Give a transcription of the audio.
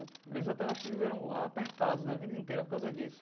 Eles até acho que viveram apertados na vida inteira por causa disso.